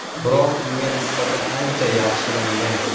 Biroq unga nisbatan ancha yaxshilangan.